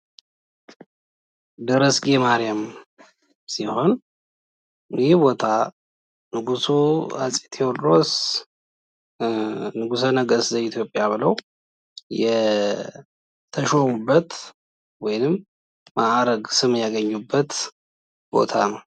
ደረስጌ ማሪያም ሲሆን፤ ይህ ቦታ ንጉሱ አፄ ቴዎድሮስ ንጉሰ ነገስት ዘኢትዮጵያ ተብለው የተሾሙበት ወይም መአረግ ስም ያግኙበት ቦታ ነው።